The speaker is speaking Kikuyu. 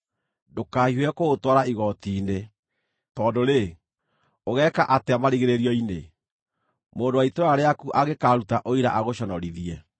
ndũkahiũhe kũũtwara igooti-inĩ, tondũ-rĩ, ũgeeka atĩa marigĩrĩrio-inĩ, mũndũ wa itũũra rĩaku angĩkaaruta ũira agũconorithie?